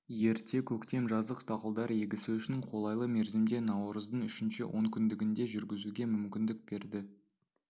ерте көктем жаздық дақылдар егісі үшін қолайлы мерзімде наурыздың үшінші онкүндігінде жүргізуге мүмкіндік берді